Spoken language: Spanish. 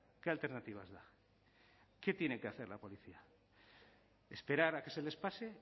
qué alternativas da qué tiene que hacer la policía esperar a que se les pase